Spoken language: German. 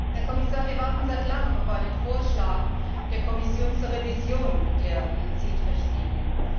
Herr Kommissar, wir warten seit langem auf einen Vorschlag der Kommission zur Revision der Biozid Richtlinie.